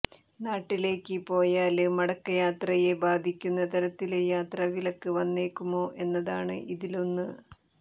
നാട്ടിലേക്ക് പോയാല് മടക്കയാത്രയെ ബാധിക്കുന്ന തരത്തില് യാത്രവിലക്ക് വന്നേക്കുമോ എന്നതാണ് ഇതിലൊന്ന്